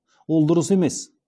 ол дұрыс емес